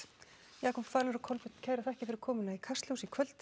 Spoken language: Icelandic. Jakob falur og Kolbeinn kærar þakkir fyrir komuna í Kastljós í kvöld